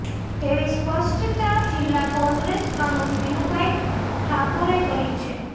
તેવી સ્પષ્ટતા જિલ્લા કોંગ્રેસ પ્રમુખ વિનુભાઈ ઠાકોરે કરી છે